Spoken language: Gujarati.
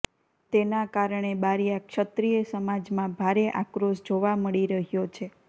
તેના કારણે બારીયા ક્ષત્રિય સમાજમા ભારે આક્રોશ જોવા મળી રહ્યો છે